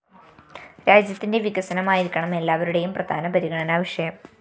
രാജ്യത്തിന്റെ വികസനമായിരിക്കണം എല്ലാവരുടേയും പ്രധാന പരിഗണനാ വിഷയം